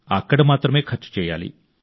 అక్కడ మాత్రమే ఖర్చు చేయాలి